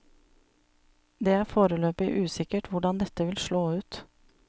Det er foreløpig usikkert hvordan dette vil slå ut.